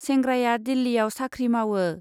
सेंग्राया दिल्लीयाव साख्रि मावो।